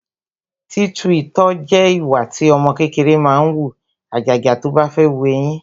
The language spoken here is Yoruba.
Títu itọ́ jẹ ìwà tí ọmọ kékeré máa ń wù, àjàjà tó bá fẹ́ wu eyín